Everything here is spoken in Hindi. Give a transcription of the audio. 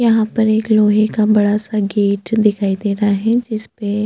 यहाँ पर एक लोहै का बड़ा -सा गेट दिखाई दे रहा है जिसपे --